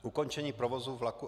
Ukončení provozu vlaku